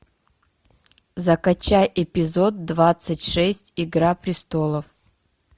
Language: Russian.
закачай эпизод двадцать шесть игра престолов